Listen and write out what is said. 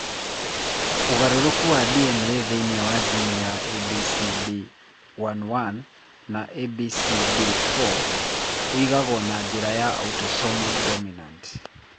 Ũgarũrũku wa DNA thĩinĩ wa jini cia ABCB11 na ABCB4 ũigagwo na njĩra ya autosomal dominant.